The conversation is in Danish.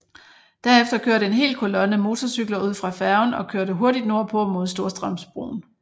Derefter kørte en hel kolonne motorcykler ud fra færgen og kørte hurtigt nordpå mod Storstrømsbroen